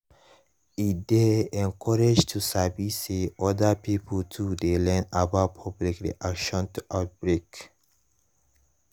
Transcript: e dey encouraging to sabi say other pipo too dey learn about public reaction to outbreak